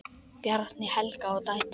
Bjarni, Helga og dætur.